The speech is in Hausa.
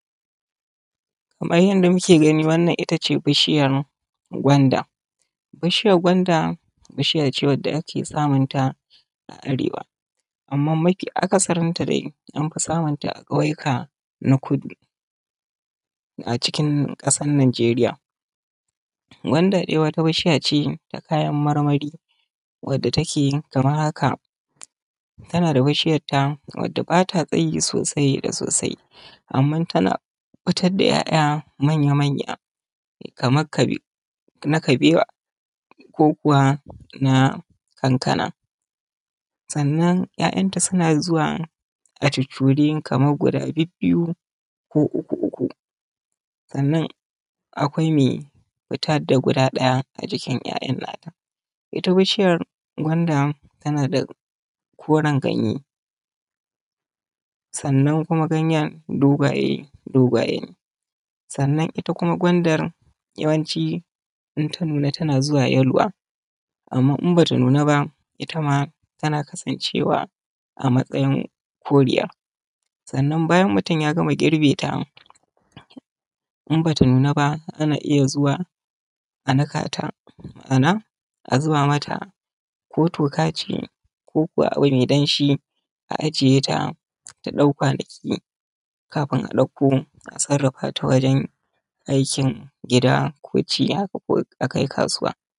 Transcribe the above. Kamar yanda muke gani wannan ita ce bishiyan gwanda. Bishiyan gwanda bishiya ce wanda ake samun ta a arewa, amma mafi akasarinta dai an fi samun ta a ƙauyuka na kudu acikin ƙasar Nijeriya. Gwanda wata bishiya ce na kayan marmari wadda take kamar haka; tana da bishiyat ta wadda ba ta tsayi sosai da sosai, amma tana fitad da ‘ya’ya manya-manya kamar kabe na kabewa ko kuwa na kankana. Sannan ‘ya’yanta suna zuwa a cuccure kamar guda bibbiyu ko uku-uku, sannan akwai mai fitad da guda ɗaya a jikin ‘ya’yan nata. Ita bishiyar gwanda tana da koren ganye, sannan kuma ganyen dogaye ne, dogaye ne, sannan ita kuma gwandar yawanci in ta nuna tana zuwa yaluwa, amma in ba ta nuna ba itama tana kasancewa a matsayin koriya. Sannan bayan mutum ya gama girbe ta in bata nuna ba ana iya zuwa a nika ta, ma’ana a zuba mata ko toka ce ko kuwa abu mai danshi, a ajiye ta, ta ɗau kwanaki kafin a ɗauko a sarrafata wajen aikin gida ko ci haka ko a kai kasuwa.